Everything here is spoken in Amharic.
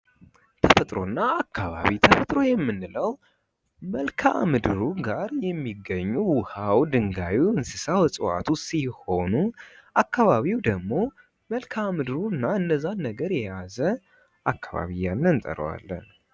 ተፈጥሮ እና አካባቢ ። ተፈጥሮ የምንለው መልካ ምድሩ ጋር የሚገኙ ውሃው ድንገዩ እንስሳው እፅዋቱ ሲሆኑ አካባቢው ደግሞ መልካ ምድሩ እና እነዛን ነገር የያዘ አካባቢ እያልነን እንጠረዋለን ።